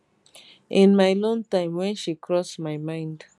in my lone time wen she cross my mind